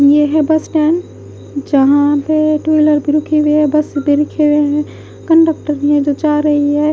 ये है bus stand जहां पे टू व्हीलर भी रुकी हुए है बस भी रुके हुए हैं कंडक्टर भी है जो जा रही है।